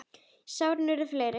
En sárin urðu fleiri.